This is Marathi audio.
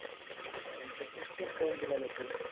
is not clear त्या नंतर ते स्टेप डाउन केला जाते